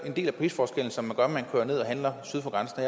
en del af prisforskellen som gør at man kører ned og handler syd for grænsen